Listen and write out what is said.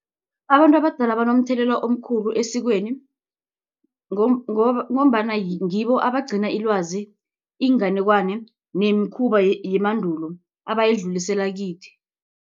Abantu abadala banomthelela omkhulu esikweni ngombana ngibo abagcina ilwazi, iinganekwane nemikhuba yemandulo abayidlulisela kithi.